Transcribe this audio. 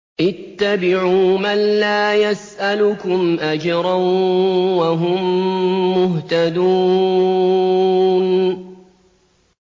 اتَّبِعُوا مَن لَّا يَسْأَلُكُمْ أَجْرًا وَهُم مُّهْتَدُونَ